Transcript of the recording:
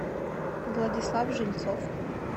владислав жильцов